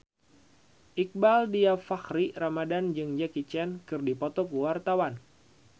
Iqbaal Dhiafakhri Ramadhan jeung Jackie Chan keur dipoto ku wartawan